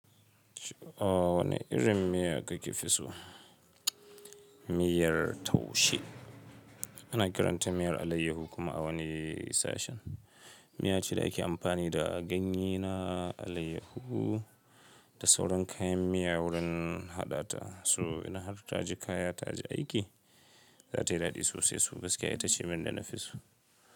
Wane irin miya kake fi so? Miyar taushe. Ana kiranta miyar alayyahu kuma a wani sashen. Miya ce da ake amfani da ganyena alayyahu da sauran kayan miya wurin haɗata. So ina har tajie kaya, taje aiki, zatayi dadi sosai su gaskiya ita ce miyan dana fi so.